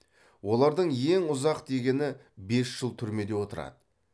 олардың ең ұзақ дегені бес жыл түрмеде отырады